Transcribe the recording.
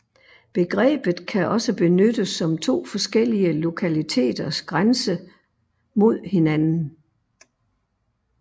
Begrebet kan også benyttes som to forskellige lokaliteters grænse mod hinanden